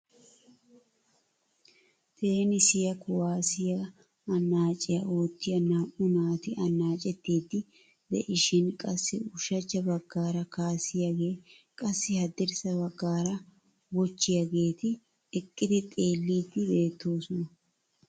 Teenisiya kuwaassiya annacciya oottiya naa"u naati annaccetiidi de'ishin qassi ushachcha baggaara kaasiyaage, qassi haddirssa baggaara wochchiyaageeti eqqidi xeellidi beettoosona .